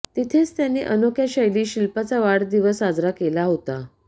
तिथेच त्यांनी अनोख्या शैलीत शिल्पाचा वाढदिवस साजरा केला होता